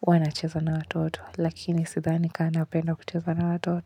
huwa nacheza na watoto lakini sidhani kaa napenda kucheza na watoto.